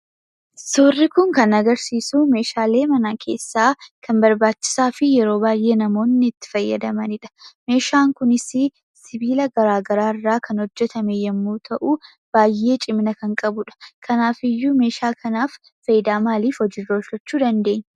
Suurri kun kan agarsiisu meeshaalee mana keessaa kan barbaachisaa fi yeroo baay'ee namoonni itti fayyadamanidha. Meeshaan kunis sibiila garaagaraarraa kan hojjatame yemmuu ta'u, baay'ee cimina kan qabudha. Kanaafiyyuu meeshaa kana fayidaa maaliif hojiirra oolfachuu dandeenya?